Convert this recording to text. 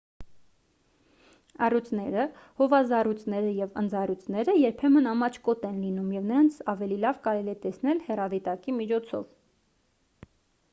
առյուծները հովազառյուծները և ընձառյուծները երբեմն ամաչկոտ են լինում և նրանց ավելի լավ կարելի է տեսնել հեռադիտակի միջոցով